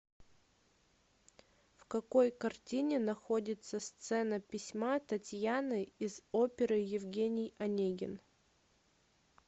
в какой картине находится сцена письма татьяны из оперы евгений онегин